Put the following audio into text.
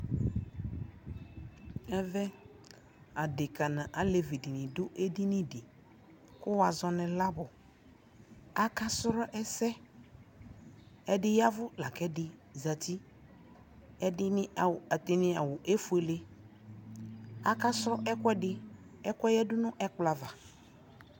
ɛvɛ adɛka nʋ alɛvi dini dʋ ɛdini di kʋ wazɔnʋ lab, aka srɔ ɛsɛ, ɛdi yavʋ lakʋ ɛdi zati, ɛdiniawʋɛƒʋɛlɛ aka srɔ ɛkʋɛdi ɛkʋɛ yadʋ nʋ ɛkplɔ aɣa